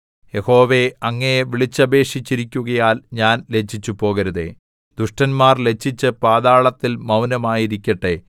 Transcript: യഹോവേ അങ്ങയെ വിളിച്ചപേക്ഷിച്ചിരിക്കുകയാൽ ഞാൻ ലജ്ജിച്ചുപോകരുതേ ദുഷ്ടന്മാർ ലജ്ജിച്ച് പാതാളത്തിൽ മൗനമായിരിക്കട്ടെ